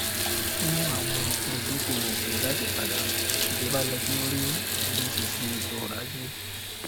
fún àwọn olùdókòwò òkèèrè láti padà ìjọba yẹ kí ó ríi ìdúróṣinṣin ètò ọrọajé